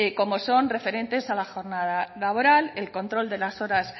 como son referentes a la jornada laboral el control de las horas